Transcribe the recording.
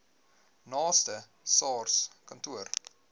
naaste sars kantoor